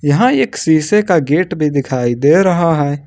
यहां एक शीशे का गेट भी दिखाई दे रहा है।